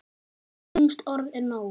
Eitt lúmskt orð er nóg.